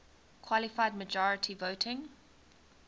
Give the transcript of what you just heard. qualified majority voting